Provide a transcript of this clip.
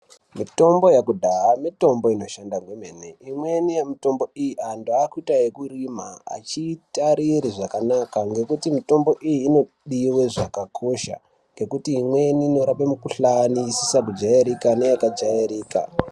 Mitombo yekudhahaa mitombo inoshanda zvemene imweni yemitombo iyi andu akuita yeku irima achiitare zvakanaka nekuti mitombo iyi ngokuti mitombo iyi inodiwe zvakakosha ngokuti imweni inorape mikhuhlani isisa kujairika neyaka jairika.